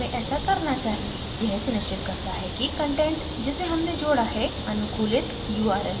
यह सुनिश्चित करता है कि कंटेंट जिसे human जोडा है अनुकूलित url है